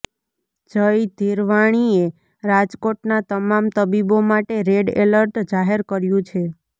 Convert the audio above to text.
જય ધિરવાણીએ રાજકોટના તમામ તબીબો માટે રેડ એલર્ટ જાહેર કર્યું છે